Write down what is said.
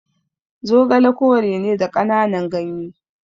Zogale kore ne da kananan gyanye